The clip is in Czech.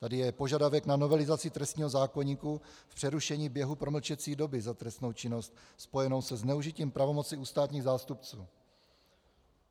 Tady je požadavek na novelizaci trestního zákoníku v přerušení běhu promlčecí doby za trestnou činnost spojenou se zneužitím pravomoci u státních zástupců.